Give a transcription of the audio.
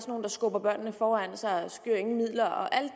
nogle der skubber børnene foran sig og skyer ingen midler og alle